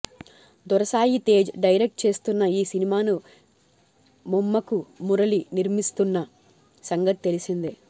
దొరసాయి Tej direct చేస్తున్న ఈ సినిమాను మోమ్మకు మురళి నిర్మిస్తున్న సంగతి తెలిసిందే